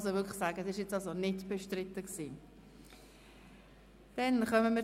Man kann wirklich sagen, es sei nicht bestritten gewesen.